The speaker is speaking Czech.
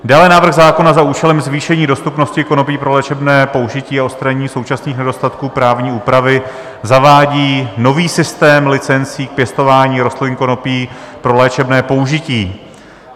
Dále návrh zákona za účelem zvýšení dostupnosti konopí pro léčebné použití a odstranění současných nedostatků právní úpravy zavádí nový systém licencí k pěstování rostlin konopí pro léčebné použití.